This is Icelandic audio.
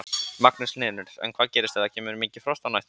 Magnús Hlynur: En hvað gerist ef það kemur mikið frost á næstunni?